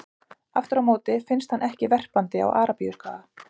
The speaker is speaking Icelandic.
Aftur á móti finnst hann ekki verpandi á Arabíuskaga.